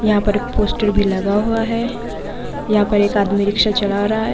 यहाँ पर एक पोस्टर भी लगा हुआ है। यहाँ पर एक आदमी रिक्शा चला रहा --